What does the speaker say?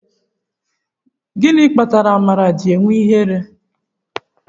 Gịnị kpatara amara ji eme ihere?